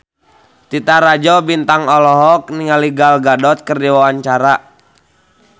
Titi Rajo Bintang olohok ningali Gal Gadot keur diwawancara